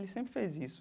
Ele sempre fez isso.